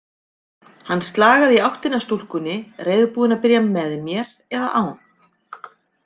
Hann slagaði í áttina að stúlkunni, reiðubúinn að byrja, með mér eða án.